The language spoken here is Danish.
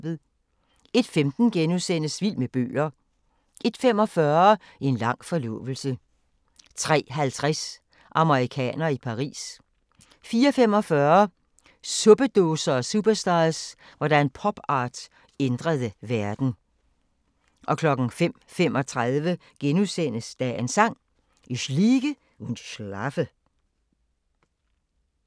01:15: Vild med bøger * 01:45: En lang forlovelse 03:50: Amerikanere i Paris 04:45: Suppedåser og superstars – hvordan popart ændrede verden 05:35: Dagens Sang: Ich liege und schlafe *